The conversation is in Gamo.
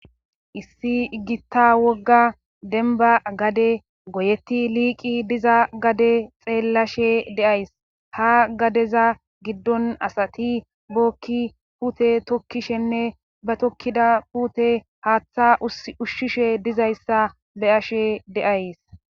issi iggita wogga denba gade goyetti liiqi diza gade xeellashe deays ha gadeza giddon asati bookki pute tokkishenne ba tokkida pute haaththa ushshishe dizayssa be ashe deays